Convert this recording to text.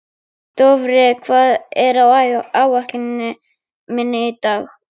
Dofri, hvað er á áætluninni minni í dag?